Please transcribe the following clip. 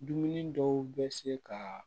Dumuni dɔw bɛ se ka